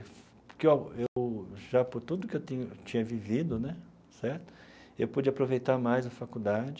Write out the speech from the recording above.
Porque ó eu, já por tudo que eu ti tinha vivido né certo, eu pude aproveitar mais a faculdade,